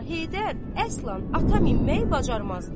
Amma Heydər əsla ata minməyi bacarmazdı.